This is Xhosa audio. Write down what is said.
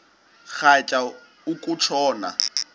rhatya uku tshona